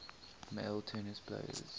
male tennis players